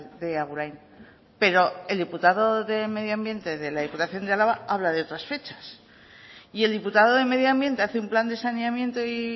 de agurain pero el diputado de medio ambiente de la diputación de álava habla de otras fechas y el diputado de medio ambiente hace un plan de saneamiento y